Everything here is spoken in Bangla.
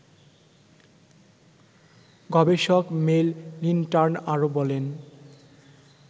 গবেষক মেল লিনটার্ন আরও বলেন